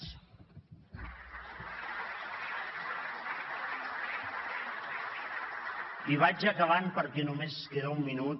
i vaig acabant perquè només queda un minut